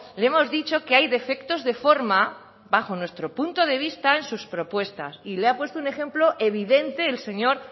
le hemos dicho que hay defectos de forma bajo nuestro punto de vista en sus propuestas y le ha puesto un ejemplo evidente el señor